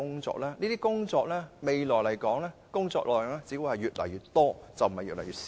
這些工作未來的工作量只會越來越多，而不會越來越少。